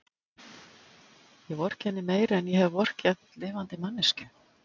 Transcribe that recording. Ég vorkenni henni meira en ég hef vorkennt lifandi manneskju.